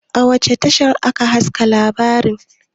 a wace tashar aka haska labarin?